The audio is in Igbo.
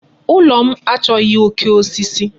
Ulo m achọghị oke osisi.